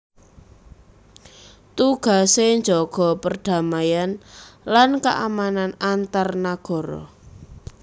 Tugasé njaga perdamaian lan keamanan antar nagara